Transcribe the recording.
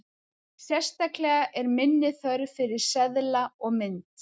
Sérstaklega er minni þörf fyrir seðla og mynt.